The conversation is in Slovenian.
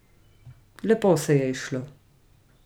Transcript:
Lepo se je izšlo.